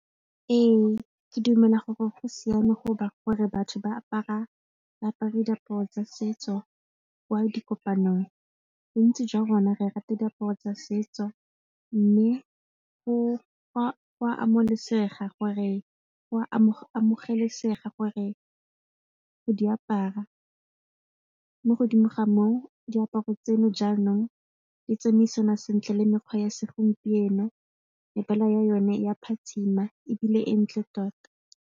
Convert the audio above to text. Ee, ke dumela gore go siame gore batho ba apare diaparo tsa setso kwa dikopanong bontsi jwa rona re rata diaparo tsa setso mme go a amogelesega gore gore go di apara mo godimo ga moo diaparo tseno jaanong di tsamaisana sentle le mekgwa ya segompieno, mebala ya yone e a phatsima ebile e ntle tota.